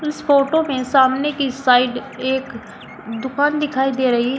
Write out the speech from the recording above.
इस फोटो में सामने की साइड एक दुकान दिखाई दे रही है।